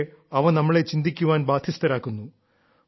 പക്ഷേ അവ നമ്മളെ ചിന്തിക്കാൻ ബാധ്യസ്ഥരാക്കുന്നു